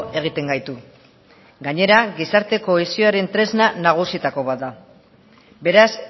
egiten gaitu gainera gizarte kohesioaren tresna nagusietako bat da beraz